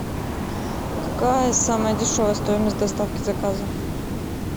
какая самая дешевая стоимость доставки заказа